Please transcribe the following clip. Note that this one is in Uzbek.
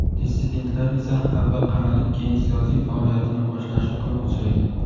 dissidentlar esa avval qamalib keyin siyosiy faoliyatini boshlashi ko‘p uchraydi.